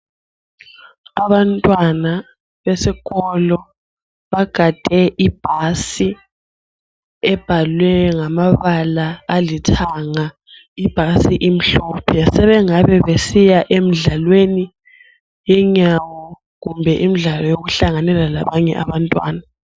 Abantwana besikolo bagade ibhasi ebhalwe ngamabala alithanga. Ibhasi imhlophe sebengabe besiya emdlalweni yenyawo kumbe imidlalo yokuhlanganela labanye abantwana.